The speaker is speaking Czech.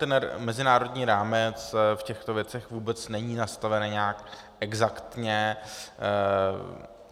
Ten mezinárodní rámec v těchto věcech vůbec není nastaven nějak exaktně.